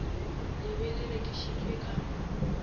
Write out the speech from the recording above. le be le rekišitšwe ka